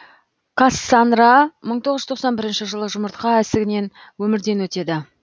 кассанра мың тоғыз жүз тоқсан бірінші жылы жұмыртқа ісігінен өмірден өтеді